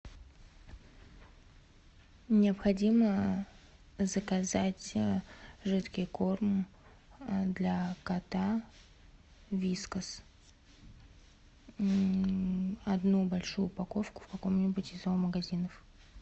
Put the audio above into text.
необходимо заказать жидкий корм для кота вискас одну большую упаковку в каком нибудь из зоомагазинов